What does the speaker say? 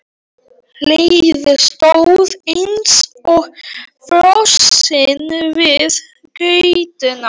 Heiða stóð eins og frosin við götuna.